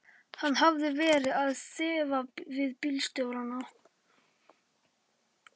Hann hafði verið að þrefa við bílstjórana.